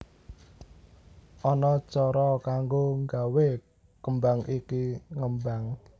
Ana cara kanggo nggawe kembang iki ngembang